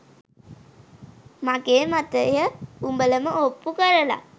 මගේ මතය උඹලම ඔප්පු කරල